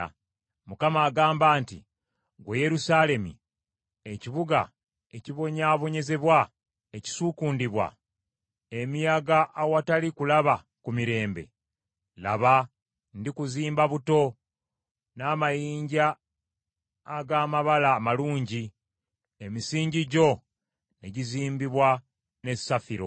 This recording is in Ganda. Mukama agamba nti, “Ggwe Yerusaalemi ekibuga ekibonyaabonyezebwa, ekisuukundibwa emiyaga awatali kulaba ku mirembe; laba ndikuzimba buto n’amayinja ag’amabala amalungi, emisingi gyo ne gizimbibwa ne safiro.